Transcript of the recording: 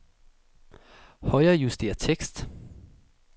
Højrejuster tekst.